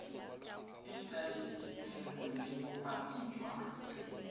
e tladitsweng le bopaki jwa